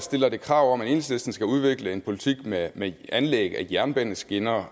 stiller det krav om at enhedslisten skal udvikle en politik med med anlæg af jernbaneskinner